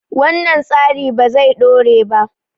wannan tsari ba zai dore ba